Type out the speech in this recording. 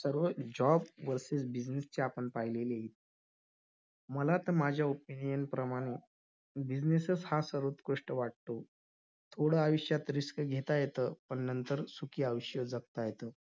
‌charge केले एकोणीशे एकोणसत्तर् मध्ये अनुऊर्जा पासून विदयुतयनिर्मिती करण्याची साठी मुंबई जवळ तारापूर येथे अनुशक्ती केंद्राची स्थापना झाली.